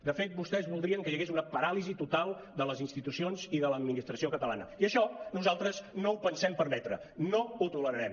de fet vostès voldrien que hi hagués una paràlisi total de les institucions i de l’administració catalana i això nosaltres no ho pensem permetre no ho tolerarem